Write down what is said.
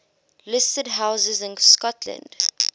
listed houses in scotland